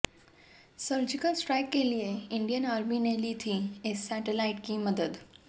surgical strike के लिए Indian army ने ली थी इस सैटलाइट की मदद